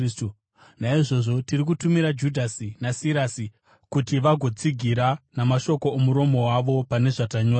Naizvozvo tiri kutumira Judhasi naSirasi kuti vagotsigira namashoko omuromo wavo pane zvatanyora.